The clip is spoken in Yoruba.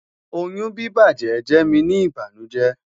oyun bibajẹ jẹ mi ni ibanujẹ